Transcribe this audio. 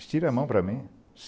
Estira a mão para mim.